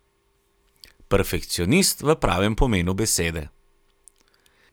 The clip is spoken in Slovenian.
Perfekcionist v pravem pomenu besede.